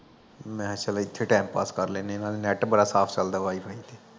ਮਹਾਂ ਚਲ ਏਥੇ time pass ਕਰ ਲੈਨਿਆ ਏਨਾ ਦੇ ਨੈਟ ਬੜਾ ਸਾਫ ਚੱਲਦਾ wi-fi ਤੇ